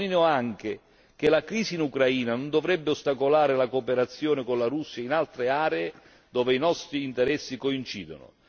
Sottolineo inoltre che la crisi in Ucraina non dovrebbe ostacolare la cooperazione con la Russia in altre aree dove i nostri interessi coincidono.